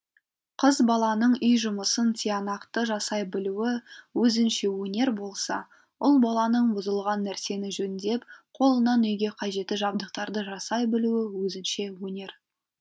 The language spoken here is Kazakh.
қыз баланың үй жұмысын тиянақты жасай білуі өзінше өнер болса ұл баланың бұзылған нәрсені жөндеп қолынан үйге қажетті жабдықтарды жасай білуі өзінше өнер